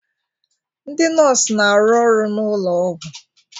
Ndị nọọsụ na-arụ ọrụ n'ụlọ ọgwụ